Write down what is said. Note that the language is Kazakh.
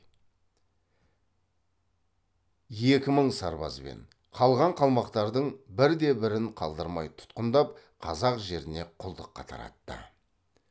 екі мың сарбазбен қалған қалмақтардың бірде бірін қалдырмай тұтқындап қазақ жеріне құлдыққа таратты